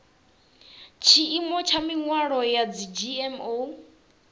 tshiimo tsha mihwalo ya dzgmo